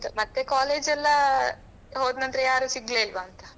ಮತ್ತೆ college ಎಲ್ಲ ಹೋದ ನಂತರ ಯಾರು ಸಿಗ್ಲೇ ಇಲ್ವಾ ಅಂತ.